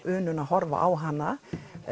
unun að horfa á hana